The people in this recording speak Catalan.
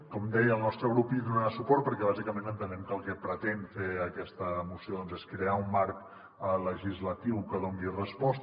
com deia el nostre grup hi donarà suport perquè bàsicament entenem que el que pretén fer aquesta moció és crear un marc legislatiu que hi doni resposta